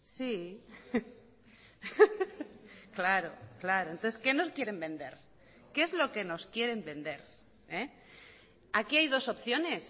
sí claro claro entonces qué nos quieren vender qué es lo que nos quieren vender aquí hay dos opciones